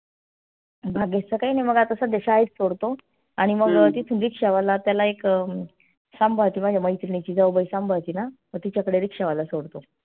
भाग्येशच काई नाई मग आता सध्या शाळेत सोडतो आणि मग तिथून रिक्षावाला त्याला एक अं सांभाळती माझी मैत्रिणीची जाऊबाई सांभाळती ना मग तिच्याकडे रिक्षावाला सोडतो.